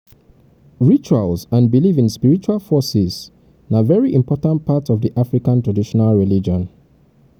rituals and belief in spiritual forces na very important part of di african traditional religion